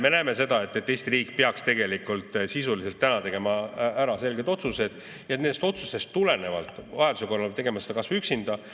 Me näeme seda, et Eesti riik peaks tegelikult täna tegema ära selged sisulised otsused, vajaduse korral tegema seda kas või üksinda.